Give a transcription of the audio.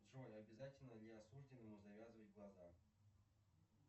джой обязательно ли осужденному завязывать глаза